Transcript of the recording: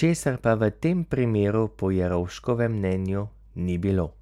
česar pa v tem primeru po Jerovškovem mnenju ni bilo.